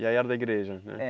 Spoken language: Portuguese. E aí era da igreja, né? É.